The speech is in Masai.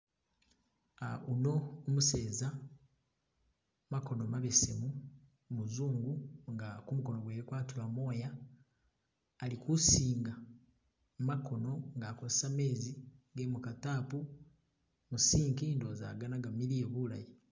Uno umuseza makono mabesemu umuzungu nga kumukono kwewe kwatula mooya ali kusinga makono nga akozesa meezi ge muka tap mu sink ndowoza agana gamiliye bulayi.